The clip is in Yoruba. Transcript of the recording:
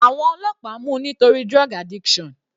Àwọn ọlọ́pàá mú u nítorí drug addiction.